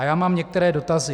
A já mám některé dotazy.